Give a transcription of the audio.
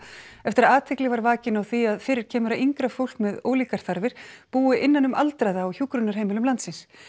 eftir að athygli var vakin á því að fyrir kemur að yngra fólk með ólíkar þarfir búi innan um aldraða á hjúkrunarheimilum landsins